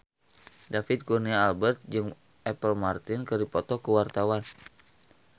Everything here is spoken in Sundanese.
David Kurnia Albert jeung Apple Martin keur dipoto ku wartawan